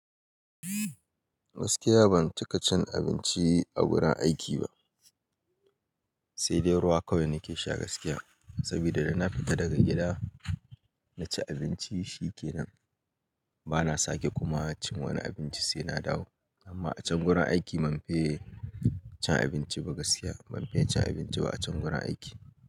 Gaskiya ban cika cin abinci a gurin aiki ba, sai dai ruwa kawai nake sha gaskiya. Saboda da na fita daga gida na ci abinci shikenan. Bana sake kuma cin wani abinci sai na dawo. Amma a can gurin aiki banfiye cin abinci ba gaskiya. Manfe cin abinci ba a can gurin aiki.